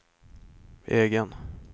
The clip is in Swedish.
egen